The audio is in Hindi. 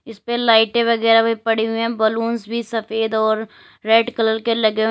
इसपे लाइटें वगैरह भी पड़ी हुई हैं बलूंस भी सफेद और रेड कलर के लगे हुए हैं।